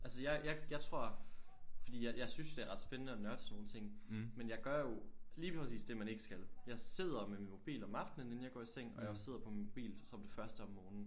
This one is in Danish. Altså jeg jeg jeg tror fordi at jeg synes det er ret spændende at nørde sådan nogle ting men jeg gør jo lige præcis det man ikke skal jeg sidder med min mobil om aftenen inden jeg går i seng og sidder på min mobil til som det første om morgenen